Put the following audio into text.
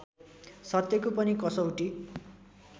सत्यको पनि कसौटी